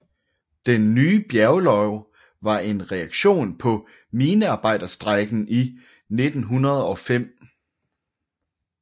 Den nye bjerglov var en reaktion på minearbejderstrejken i 1905